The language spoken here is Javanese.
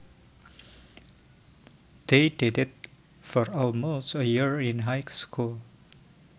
They dated for almost a year in high school